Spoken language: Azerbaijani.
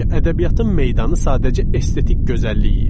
Çünki ədəbiyyatın meydanı sadəcə estetik gözəlliyi idi.